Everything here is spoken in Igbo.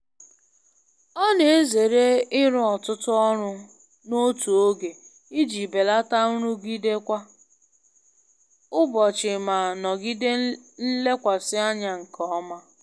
Ọ na-ezere ịrụ ọtụtụ ọrụ n'otu oge iji belata nrụgide kwa ụbọchị ma nọgide nlekwasị anya nke ọma.